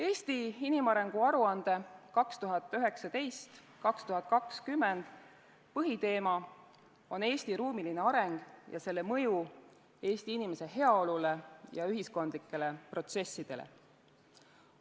"Eesti inimarengu aruande 2019/2020" põhiteema on Eesti ruumiline areng ja selle mõju Eesti inimese heaolule ja ühiskondlikele protsessidele.